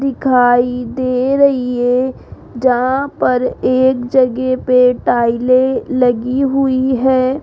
दिखाई दे रही है जहां पर एक जगह पे टाइले लगी हुई है।